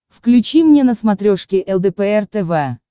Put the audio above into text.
включи мне на смотрешке лдпр тв